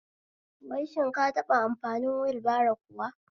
Wai shin ka taɓa amfani wulbaro kuwa?